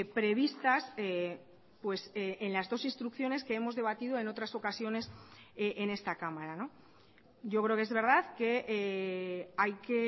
previstas en las dos instrucciones que hemos debatido en otras ocasiones en esta cámara yo creo que es verdad que hay que